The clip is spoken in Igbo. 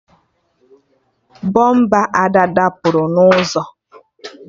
Bọmpa Ada dapụrụ na ụzọ